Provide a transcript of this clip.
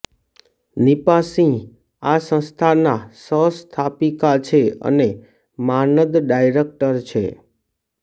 નીપા સિંહ આ સંસ્થાના સહસ્થાપિકા છે અને માનદ્ ડાયરેક્ટર છે